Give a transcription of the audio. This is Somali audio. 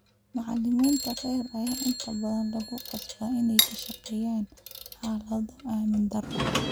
Macallimiinta rer ayaa inta badan lagu khasbaa inay ku shaqeeyaan xaalado ammaan darro ah.